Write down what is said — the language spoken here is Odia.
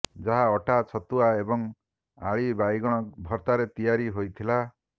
ଯାହା ଅଟା ଛତୁଆ ଏବଂ ଆଳି ବାଇଗଣ ଭର୍ତ୍ତାରେ ତିଆରି ହୋଇଥିଲା